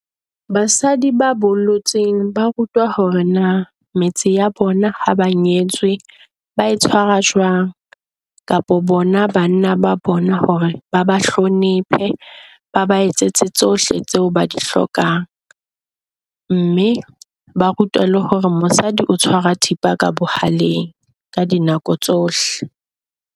Basadi ba bolotseng ba rutwa hore na met se ya bona ha ba nyetswe ba e tshwara jwang. Kapa bona banna ba bona hore ba ba hlonephe ba ba etsetse tsohle tseo ba di hlokang, mme ba rutwa le hore mosadi o tshwara thipa ka bohaleng ka di nako tsohle.